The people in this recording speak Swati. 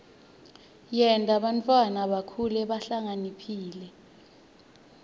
yenta bantfwana bakhule bahlakaniphile